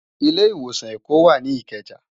Ilé Iwósán Ékó wá ni Ikeja